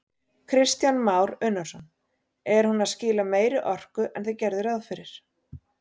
Kristján Már Unnarsson: Er hún að skila meiri orku en þið gerðuð ráð fyrir?